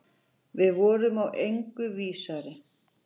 Við vorum í engu vísari.